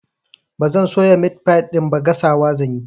Ba zan soya meat pie ɗin ba, gasawa zan yi.